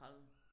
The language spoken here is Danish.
30